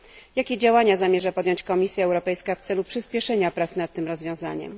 Jakie działania zamierza podjąć Komisja Europejska w celu przyspieszenia prac nad tym rozwiązaniem?